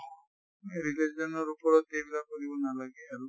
religion ৰ ওপৰত এইবিলাক কৰিব নালাগে আৰু